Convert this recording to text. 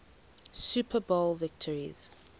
super bowl victories